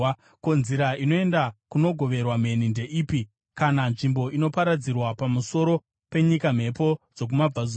Ko, nzira inoenda kunogoverwa mheni ndeipi, kana nzvimbo inoparadzirwa mhepo dzokumabvazuva pamusoro penyika?